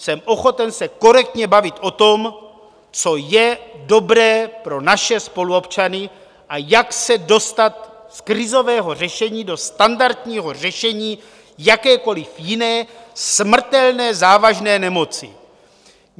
Jsem ochoten se korektně bavit o tom, co je dobré pro naše spoluobčany a jak se dostat z krizového řešení do standardního řešení jakékoli jiné smrtelné závažné nemoci.